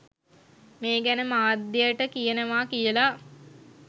මේ ගැන මාධ්‍යයට කියනවා කියලා.